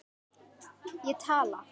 Ég tala.